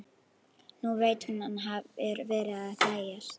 Nú veit hún að hann hefur verið að gægjast.